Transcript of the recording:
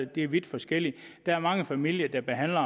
det er vidt forskelligt der er mange familier der behandler